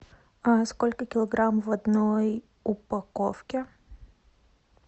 сколько килограмм в одной упаковке